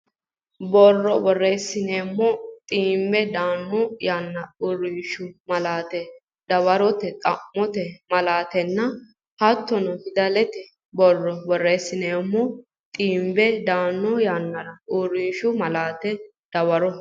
Borro borreessineemo dhibbi daanno yannara Uurrishshu malaate Dawaro Xa mote malaatenna hattono fidalete Borro borreessineemo dhibbi daanno yannara Uurrishshu malaate Dawaro.